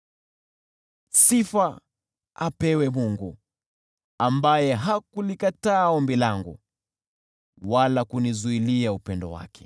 Sifa apewe Mungu, ambaye hakulikataa ombi langu wala kunizuilia upendo wake!